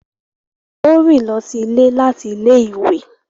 Wọn o rin lọsí ilé láti ilé-ìwé